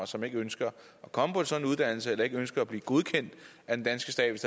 som ikke ønsker at komme på en sådan uddannelse eller ikke ønsker at blive godkendt af den danske stat